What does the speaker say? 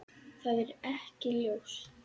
Það er ekki ljóst.